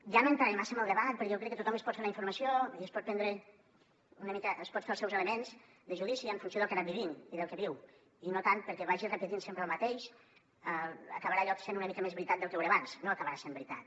jo no entraré massa en el debat perquè crec que tothom es pot fer la informació i es pot fer els seus elements de judici en funció del que ha anat vivint i del que viu i no tant perquè vagi repetint sempre el mateix acabarà allò sent una mica més veritat del que ho era abans no acabarà sent veritat